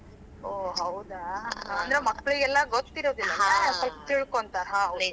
ಹೋ, ಹೌದಾ .